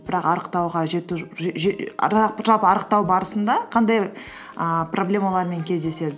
бірақ арықтауға жету жалпы арықтау барысында қандай ііі проблемалармен кездеседі